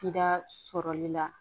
Tida sɔrɔli la